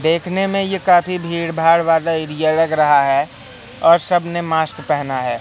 देखने में ये काफ़ी भीड़ भाड़ वाला एरिया लग रहा है और सब ने मास्क पहना है।